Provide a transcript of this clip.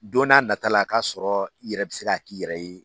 Don n'a nata la a k'a sɔrɔ i yɛrɛ bɛ se k'a k'i yɛrɛ ye.